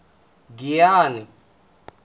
giyane